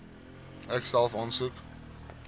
ek self aansoek